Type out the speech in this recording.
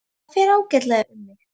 Og það fer ágætlega um mig.